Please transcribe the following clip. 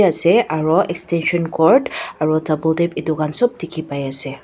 ase aru extension cord aru double tap etu khan sob dekhi pai ase.